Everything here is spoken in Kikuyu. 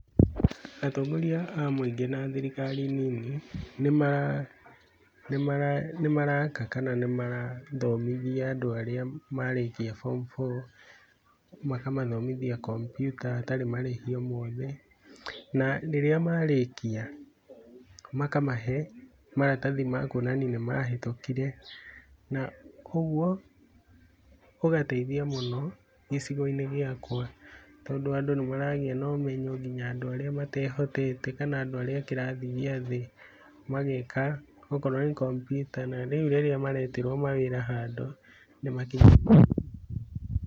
Atongoria a mũingĩ na thirikari nini nĩ mara aka kana nĩ marathomithia andũ arĩa marĩkia form four, makamathomithia kompyuta hatarĩ marĩhi o mothe, na rĩrĩa marĩkia, makamahe maratathi ma kuonania nĩ mahĩtũkire na ũguo ũgateithia mũno gĩcigo-inĩ gĩakwa tondũ andũ nĩ maragĩa na ũmenyo nginya andũ arĩa matehotete kana andũ arĩa a kĩrathĩ gĩathĩ, mageka okorwo nĩ kompyuta na rĩu rĩrĩa maretĩrwo mawĩra handũ nĩ makinyagĩria .